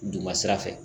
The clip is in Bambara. Duguma sira fɛ